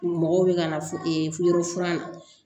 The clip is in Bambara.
U mɔgɔw bɛ ka na e yɔrɔ furan na